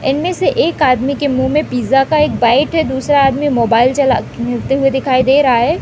इनमें से एक आदमी के मुँह में पिज़्ज़ा का एक बाईट है। दूसरा आदमी मोबाइल चला ते हुए दिखाई दे रहा है।